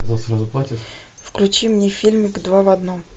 включи мне фильмик два в одном